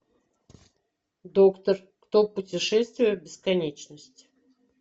доктор кто путешествие в бесконечность